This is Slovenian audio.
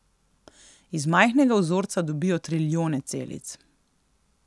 Iz majhnega vzorca dobijo trilijone celic.